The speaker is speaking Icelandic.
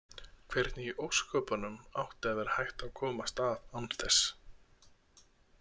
Hvernig í ósköpunum átti að vera hægt að komast af án þess?